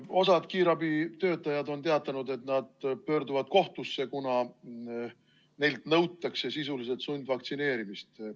Osa kiirabitöötajaid on teatanud, et nad pöörduvad kohtusse, kuna neilt nõutakse sisuliselt sundvaktsineerimist.